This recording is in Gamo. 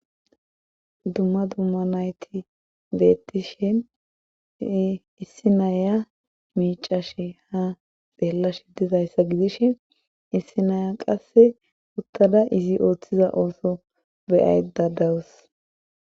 Dumma dumma nayti beettishe issi naya miicashe ha xeella shi didayssa gidish issi naya qasse uttada izi ooththiza ooso beyay dadawus